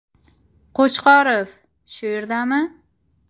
Qo‘chqorov shu yerdami?